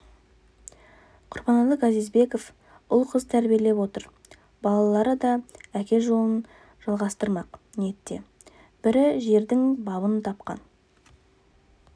құрбанәлі газизбеков ұл қыз тәрбиелеп отыр балалары да әке жолын жалғастырмақ ниетте бірі жердің бабын тапқан